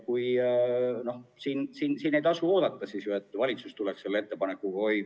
Ei tasu jääda ootama, et valitsus ise tuleks selle ettepanekuga.